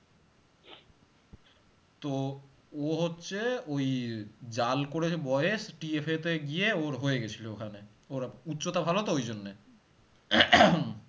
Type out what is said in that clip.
তো ও হচ্ছে ওই জাল করে যে বয়েস TF তে গিয়ে ওর হয়ে গেছিলো ওখানে ওর উচ্চতা ভালো তো ওই জন্যে